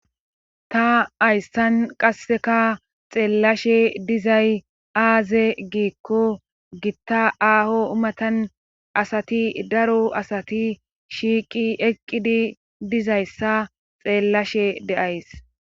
Ta ayssan qasseka xeellashe dizay aaze giikko gitta aaho umatan asati daro asati shiiqi eqqidi dizayssa xeellashe de7ays.